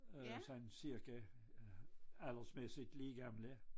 Øh sådan cirka aldersmæssigt lige gamle